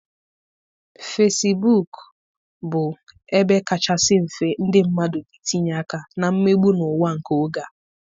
Fesibuk bụ ebe kachasị mfe ndị mmadụ na-etinye aka na mmegbu n'ụwa nke oge a.